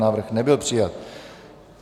Návrh nebyl přijat.